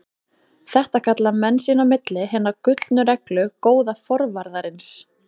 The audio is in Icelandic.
Þetta kalla menn sín á milli Hina gullnu reglu góða forvarðarins.